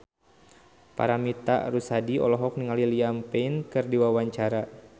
Paramitha Rusady olohok ningali Liam Payne keur diwawancara